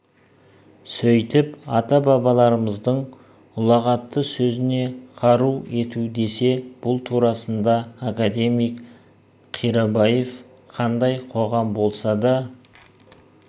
сөйтіп ата бабаларымыздың ұлағатты сөзін қару ету десе бұл турасында академик қирабаев қандай қоғам болса да